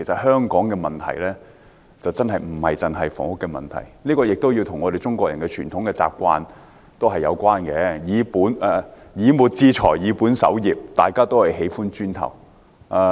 香港的問題真的不單純是房屋問題，這與中國人的傳統有關，所謂"以末致財，以本守之"，市民都喜歡"磚頭"。